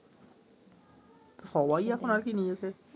সবাই এখন আর কি নিয়েছে